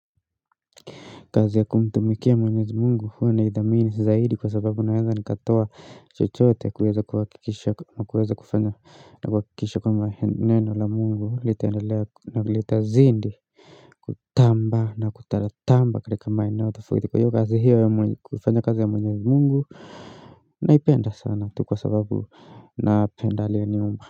Kazi ya kumtumikia mwenyezi Mungu huwa naithamini zaidi kwa sababu naweza nikatoa chochote kuweza kuhakikisha na kuweza kufanya na kuhakikisha kwamba neno la Mungu litaendelea na litazidi kutamba na kutamba katika maeneo tofauti kwa hiyo ya kufanya kazi ya mwenyezi Mungu naipenda sana tu kwa sababu napenda aliyeniumba.